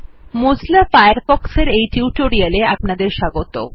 Mozilla Firefox এর এই টিউটোরিয়ালে অপনাদের স্বাগত